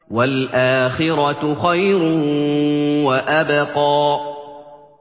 وَالْآخِرَةُ خَيْرٌ وَأَبْقَىٰ